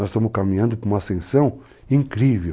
Nós estamos caminhando para uma ascensão incrível.